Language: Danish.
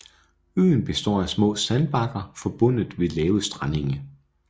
Øen består af små sandbakker forbundet ved lave strandenge